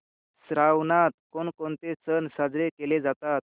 श्रावणात कोणकोणते सण साजरे केले जातात